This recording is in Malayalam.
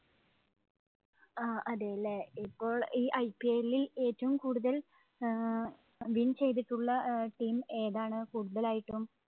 ആഹ് അതെ, അല്ലേ? ഇപ്പോള്‍ ഈ IPL ഇല്‍ ഏറ്റവും കൂടുതല്‍ ആഹ് win ചെയ്തിട്ടുള്ള team ഏതാണ് കൂടുതലായിട്ടും?